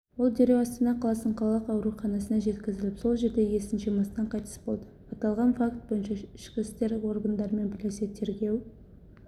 ол дереу астана қаласының қалалық ауруханасына жеткізіліп сол жерде есін жимастан қайтыс болды аталған факт бойынша ішкі істер органдарымен бірлесе тергеу